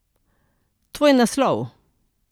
Tvoj naslov.